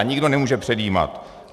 A nikdo nemůže předjímat.